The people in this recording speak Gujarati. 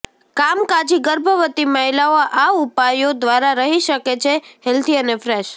કામકાજી ગર્ભવતી મહિલાઓ આ ઉપાયો દ્વારા રહી શકે છે હેલ્ધી અને ફ્રેશ